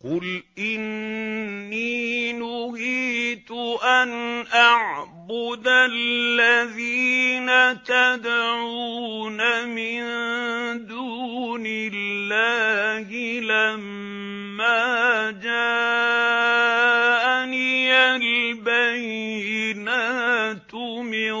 ۞ قُلْ إِنِّي نُهِيتُ أَنْ أَعْبُدَ الَّذِينَ تَدْعُونَ مِن دُونِ اللَّهِ لَمَّا جَاءَنِيَ الْبَيِّنَاتُ مِن